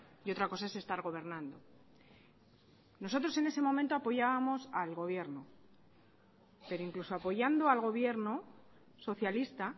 y otra cosa es estar gobernando nosotros en ese momento apoyábamos al gobierno pero incluso apoyando al gobierno socialista